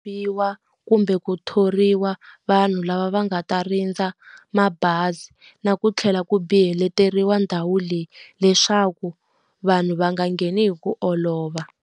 kumbe ku thoriwa vanhu lava va nga ta rindza mabazi. Na ku tlhela ku biheleteriwa ndhawu leyi, leswaku vanhu va nga ngheni hi ku olova.